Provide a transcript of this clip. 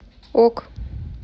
ок